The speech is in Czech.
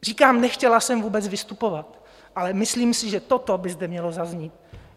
Říkám, nechtěla jsem vůbec vystupovat, ale myslím si, že toto by zde mělo zaznít.